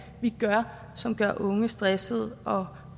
gør som gør unge stressede og